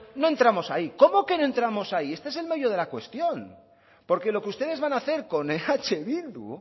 no entramos ahí cómo que no entramos ahí este es el meollo de la cuestión porque lo que ustedes van a hacer con eh bildu